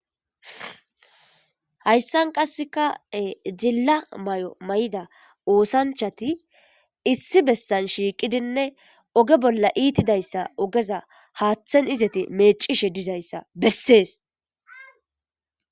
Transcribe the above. Hayssan qassekae jilla may'o may'ida oosanchati issi bessan shiiqidinne oge bolla iitidayssa ogeza haaththen izati meecishe dizayssa bessees.